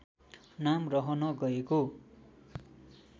नाम रहन गएको